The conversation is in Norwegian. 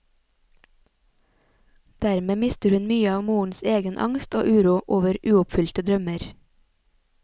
Dermed mister hun mye av morens egen angst og uro over uoppfylte drømmer.